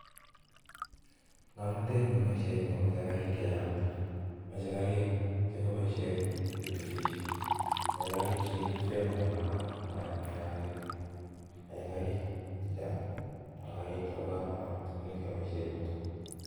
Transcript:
Ngomnotet nekiboishien en yu komoche garik chechang, moche Garik chekiboishien chekiripseen en imbaar komayaakituun. Beek chechang ko garik chebo komonut chekeboishien en yutet